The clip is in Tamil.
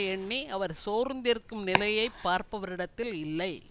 எண்ணி அவர் சோர்ந்திருக்கும் நிலையை பார்ப்பவரிடத்தில் இல்லை